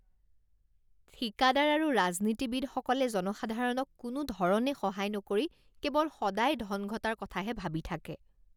ঠিকাদাৰ আৰু ৰাজনীতিবিদসকলে জনসাধাৰণক কোনোধৰণে সহায় নকৰি কেৱল সদায় ধন ঘটাৰ কথাহে ভাবি থাকে